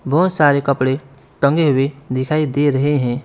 बहुत सारे कपड़े टंगे हुए दिखाई दे रहे हैं।